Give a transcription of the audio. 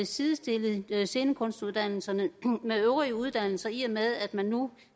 sidestille scenekunstuddannelserne med øvrige uddannelser i og med at man nu